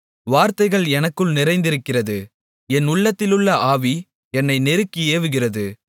வார்த்தைகள் எனக்குள் நிறைந்திருக்கிறது என் உள்ளத்திலுள்ள ஆவி என்னை நெருக்கி ஏவுகிறது